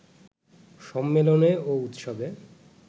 সম্মেলনে ও উৎসবে